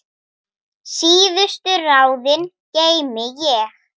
Síðustu ráðin geymi ég.